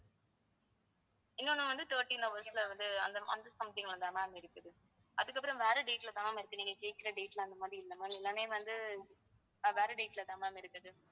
இன்னொன்னு வந்து thirteen hours ல வந்து அந்த something ல தான் ma'am இருக்குது அதுக்கப்புறம் வேற date ல தான் ma'am இருக்குது நீங்க கேக்குற date ல அந்த மாதிரி இல்ல ma'am எல்லாமே வந்து ஆஹ் வேற date லதான் ma'am இருக்குது